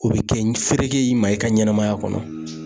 O bi kɛ ni fereke y'i ma i ka ɲɛnɛmaya kɔnɔ.